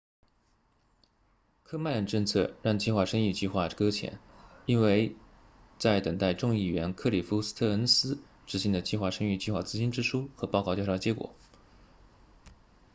科曼的政策让计划生育计划搁浅因为在等待众议员克里夫斯特恩斯 cliff stearns 执行的计划生育计划资金支出和报告调查结果